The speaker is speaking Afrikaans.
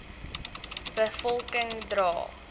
be volking dra